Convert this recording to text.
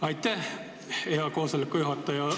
Aitäh, hea juhataja!